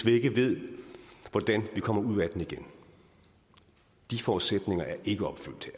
ikke ved hvordan vi kommer ud af den igen de forudsætninger er ikke opfyldt